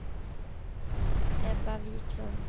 Ebba Wiklund